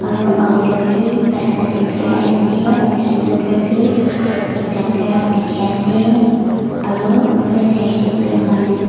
aru auto bi rasta dey birai ase aro scooter bi ekta bira dikhi ase aro ufale saishe kuile manu bi--